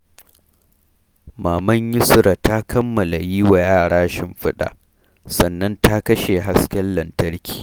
Maman Yusrah ta kammala yi wa yara shimfiɗa, sannan ta kashe hasken lantarki.